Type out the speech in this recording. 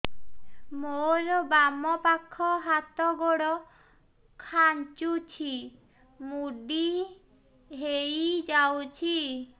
ମୋର ବାମ ପାଖ ହାତ ଗୋଡ ଖାଁଚୁଛି ମୁଡି ହେଇ ଯାଉଛି